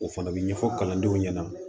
O fana bɛ ɲɛfɔ kalandenw ɲɛna